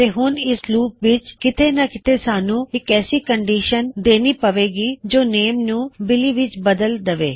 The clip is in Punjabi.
ਤੇ ਹੁਣ ਇਸ ਲੂਪ ਵਿੱਚ ਕਿਤੇ ਮਾ ਕਿਤੇ ਸਾਨੂੰ ਇੱਕ ਐਸੀ ਕੰਨਡਿਸ਼ਨ ਦੇਨੀ ਪਵੇਗੀ - ਜੋ ਨੇਮ ਨੂੰ ਬਿਲੀ ਵਿੱਚ ਬਦਲ ਦਵੋ